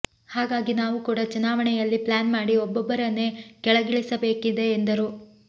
ಹಾಗಾಗಿ ನಾವು ಕೂಡ ಚುನಾವಣೆಯಲ್ಲಿ ಪ್ಲಾನ್ ಮಾಡಿ ಒಬ್ಬೊಬ್ಬರನ್ನೇ ಕೆಳಗಿಳಿಸಬೇಕಿದೆ ಎಂದರು